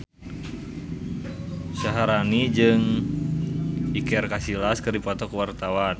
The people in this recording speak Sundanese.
Syaharani jeung Iker Casillas keur dipoto ku wartawan